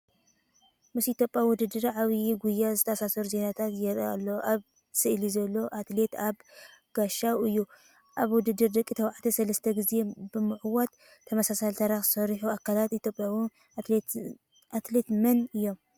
ምስ ኢትዮጵያዊ ውድድር ዓባይ ጉያ ዝተኣሳሰሩ ዜናታት ይርኢ ኣሎ፤ ኣብ ስእሊ ዘሎ ኣትሌት ኣበ ጋሻው እዩ፣ ኣብ ውድድር ደቂ ተባዕትዮ ሰለስተ ግዜ ብምዕዋት ተመሳሳሊ ታሪኽ ዝሰርሑ ካልኦት ኢትዮጵያውያን ኣትሌታት መን እዮም?